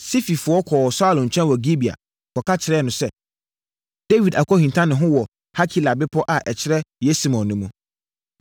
Sififoɔ kɔɔ Saulo nkyɛn wɔ Gibea kɔka kyerɛɛ no sɛ, “Dawid akɔhinta ne ho wɔ Hakila bepɔ a ɛkyerɛ Yesimon no mu.”